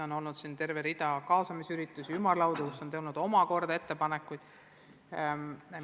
On olnud terve rida kaasamisüritusi, ümarlaudu, kust on ka ettepanekuid tulnud.